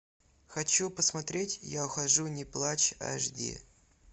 хочу посмотреть я ухожу не плачь аш ди